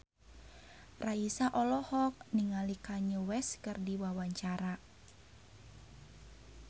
Raisa olohok ningali Kanye West keur diwawancara